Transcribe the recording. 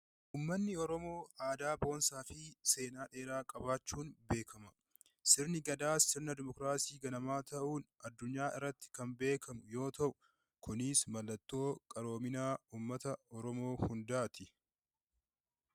Uummatni Oromoo aadaa boonsaa fi seenaa dheeraa qabaachuun beekama. Sirni gadaa sirna Dimookiraasii ganamaa ta'uun addunyaa irratti kanbeekamu yoo ta'u, kunis mallattoo qaroomina uummata Oromoo hundaati.